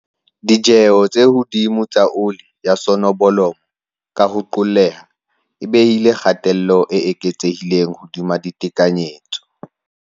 Ditjeo tse hodimo tsa oli ya sonobolomo, ka ho qolleha, e behile kgatello e eketsehileng hodima ditekanyetso.